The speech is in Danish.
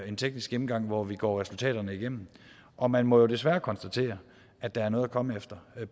en teknisk gennemgang hvor vi går resultaterne igennem og man må jo desværre konstatere at der er noget at komme efter det